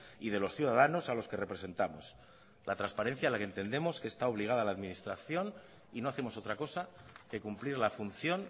y de los ciudadanos a los que representamos la transparencia a la que entendemos que está obligada la administración y no hacemos otra cosa que cumplir la función